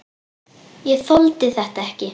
Ég þoldi þetta ekki.